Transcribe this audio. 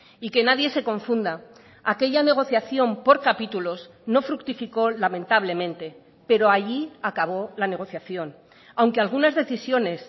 y que nadie se confunda aquella negociación por capítulos no fructificó lamentablemente pero allí acabó la negociación aunque algunas decisiones